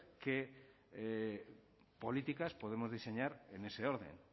qué políticas podemos diseñar en ese orden